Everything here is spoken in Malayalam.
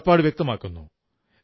കടപ്പാടു വ്യക്തമാക്കുന്നു